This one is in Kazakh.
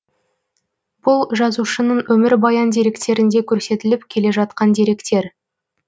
бұл жазушының өмірбаян деректерінде көрсетіліп келе жатқан деректер